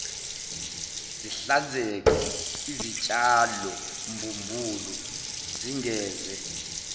zihlanzeke izitshalombumbulu zingeze